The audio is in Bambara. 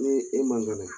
Ni e man kɛnɛ